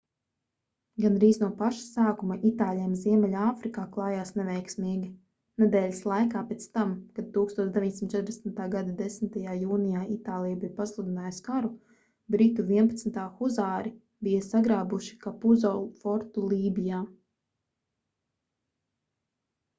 gandrīz no paša sākuma itāļiem ziemeļāfrikā klājās neveiksmīgi nedēļas laikā pēc tam kad 1940. gada 10. jūnijā itālija bija pasludinājusi karu britu 11. huzāri bija sagrābuši kapuzo fortu lībijā